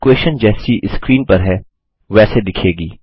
और इक्वेशन जैसी स्क्रीन पर है वैसे दिखेगी